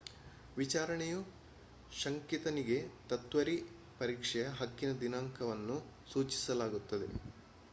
ವಿಚಾರಣೆಯು ಶಂಕಿತನಿಗೆ ತ್ವರಿತ ಪರೀಕ್ಷೆಯ ಹಕ್ಕಿನ ದಿನಾಂಕವನ್ನು ಸೂಚಿಸುತ್ತದೆ